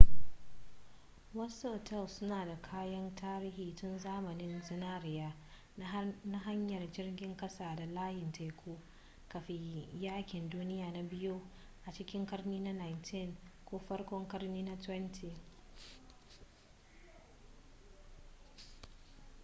wasu otal suna da kayan tarihi tun zamanin zinariya na hanyar jirgin kasa da layin teku kafin yakin duniya na biyu a cikin karni na 19 ko farkon karni na 20